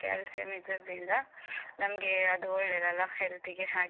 Calcium ಇದ್ದದ್ರಿಂದ ನಮ್ಗೇ ಅದು ಒಳ್ಳೇದಲ್ಲ health ಗೆ ಹಾಗೆ.